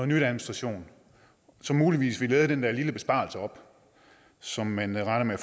ny administration som muligvis ville æde den der lille besparelse op som man regner